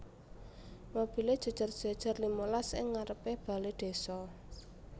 Mobile jejer jejer limalas ing ngarepe bale desa